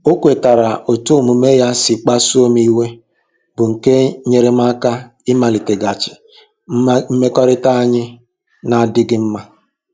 O kwetara otú omume ya si kpasuo m iwe, bụ́ nke nyeere m aka ịmaliteghachi mmekọrịta anyị na-adịghị mma.